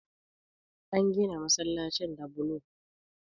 An gina masallacin da bulo